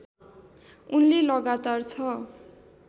उनले लगातार छ